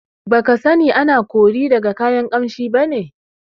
Baka sani ana kori daga kayan Ƙamshi bane?